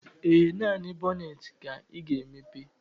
Ee, naanị bọnetị ka ị ga-emepe